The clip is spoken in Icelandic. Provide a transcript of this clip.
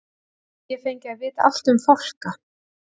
gæti ég fengið að vita allt um fálka